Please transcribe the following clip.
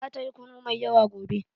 Zata yi kunu mai yawa gobe.